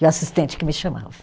E o assistente que me chamava.